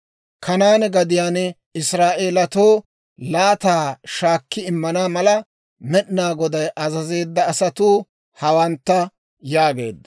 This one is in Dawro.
Kanaane gadiyaan Israa'eelatoo laataa shaakki immana mala, Med'inaa Goday azazeedda asatuu hawantta» yaageedda.